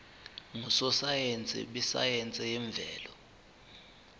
ngososayense besayense yemvelo